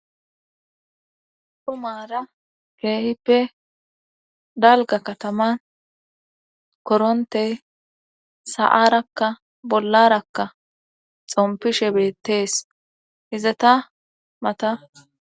Dhumaara keehippe dalgga kataman korontey sa'arakka bollarakka xompishe beettees izeta mata